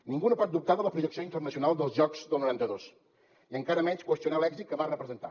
ningú no pot dubtar de la projecció internacional dels jocs del noranta dos i encara menys qüestionar l’èxit que van representar